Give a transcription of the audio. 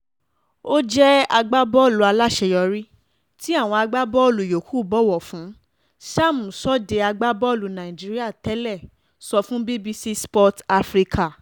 ó jẹ́ agbábọ́ọ̀lù aláṣeyọrí tí àwọn agbábọ́ọ̀lù yòókù bọ̀wọ̀ fún sam sọ́de agbábọ́ọ̀lù nàìjíríà tẹ́lẹ̀ sọ fún bbc sport africa